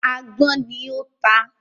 “agbọ́n” ni o tá.